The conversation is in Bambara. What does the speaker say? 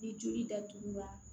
Ni joli datugula